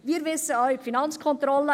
Wir wissen auch: